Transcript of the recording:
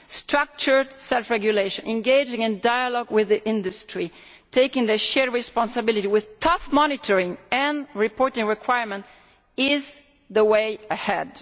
Structured self regulation, engaging in dialogue with industry, taking shared responsibility with tough monitoring and reporting requirements, that is the way ahead.